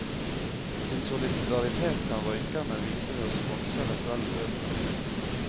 Sin solidaritet kan røykerne vise ved å sponse eventuelle bøter.